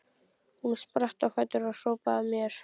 Hún spratt á fætur og hrópaði að mér